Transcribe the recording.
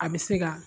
A bɛ se ka